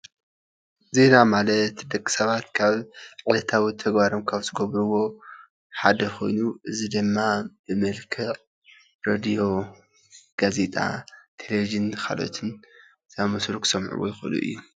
ዜና ማለት ደቂ ሰባት ካብ ዕለታዊ ተግባሮም ካብ ዝገብርዎ ሓደ ኮይኑ እዚ ድማ ብመልክዕ ሬድዮ፣ ጋዜጣ፣ ቴሌቭዥን ከልኦትን ዝኣምሰሉ ክሰምዑዎ ይኽእሉ እዮም፡፡